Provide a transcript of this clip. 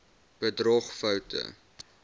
bedrogfoute